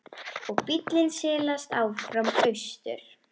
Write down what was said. Og bíllinn silast áfram austur.